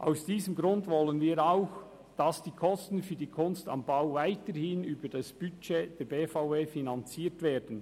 Aus diesem Grund wollen wir auch, dass die Kosten für «Kunst am Bau» weiterhin über das Budget der BVE finanziert werden.